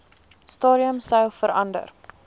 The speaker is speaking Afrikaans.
stadium sou verander